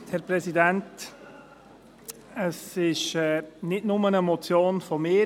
Die Motion stammt nicht nur von mir.